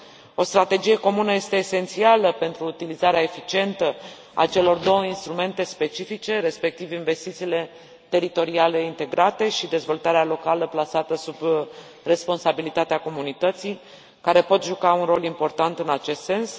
O strategie comună este esențială pentru utilizarea eficientă a celor două instrumente specifice, respectiv investițiile teritoriale integrate și dezvoltarea locală plasată sub responsabilitatea comunității, care pot juca un rol important în acest sens.